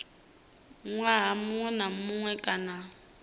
ṅwaha muṅwe na muṅwe kana